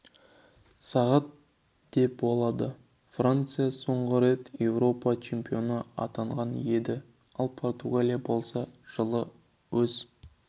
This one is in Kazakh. сағат де болады франция соңғы рет еуропа чемпионы атанған еді ал португалия болса жылы өз